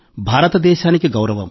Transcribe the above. భారతదేశానికి గౌరవం